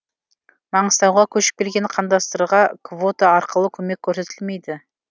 маңғыстауға көшіп келген қандастарға квота арқылы көмек көрсетілмейді